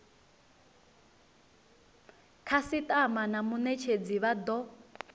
khasitama na munetshedzi vha do